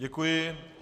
Děkuji.